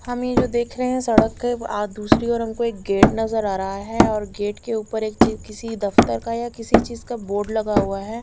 हम ये जो देख रहे हैं सड़क के दूसरी ओर हमको एक गेट नजर आ रहा हैं और गेट के ऊपर एक चिज या किसी दफ्तर या किसी चीज का बोर्ड लगा हुआ है।